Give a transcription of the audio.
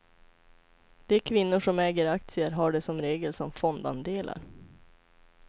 De kvinnor som äger aktier har det som regel som fondandelar.